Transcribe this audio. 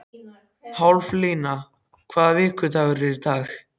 Haflína, hvaða vikudagur er í dag?